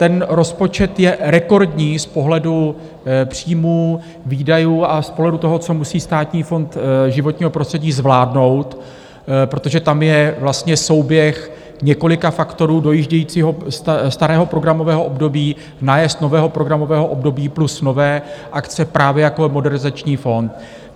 Ten rozpočet je rekordní z pohledu příjmů, výdajů a z pohledu toho, co musí Státní fond životního prostředí zvládnout, protože tam je vlastně souběh několika faktorů dojíždějícího starého programového období, nájezd nového programového období plus nové akce, právě jako Modernizační fond.